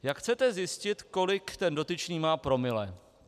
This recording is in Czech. Jak chcete zjistit, kolik ten dotyčný má promile?